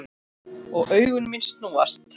Og augu mín snúast.